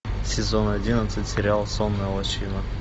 сезон одиннадцать сериал сонная лощина